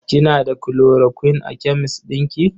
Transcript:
Kina da chloroquine a kemes ɗin ki?